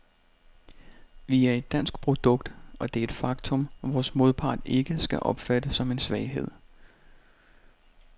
Vi er et dansk produkt, og det er et faktum, vores modpart ikke skal opfatte som en svaghed.